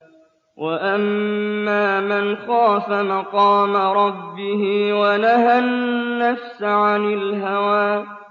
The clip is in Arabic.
وَأَمَّا مَنْ خَافَ مَقَامَ رَبِّهِ وَنَهَى النَّفْسَ عَنِ الْهَوَىٰ